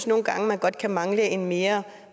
nogle gange godt kan mangle en mere